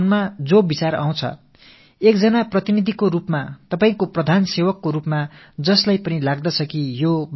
அப்படிப்பட்ட உங்களின் கருத்துக்களை உங்களின் ஒரு பிரதிநிதியாக நாட்டின் பிரதம சேவகன் என்ற வகையில் நான் எதிரொலிக்கிறேன்